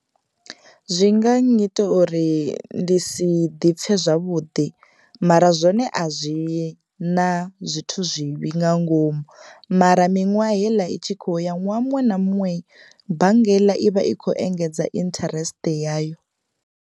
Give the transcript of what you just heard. Zwi nga nnyita uri ndi si ḓipfe zwavhuḓi mara zwone a zwi na zwithu zwivhi nga ngomu mara miṅwaha heiḽa i tshi kho ya ṅwaha muṅwe na muṅwe bannga heiḽa i vha i kho engedza interest yayo.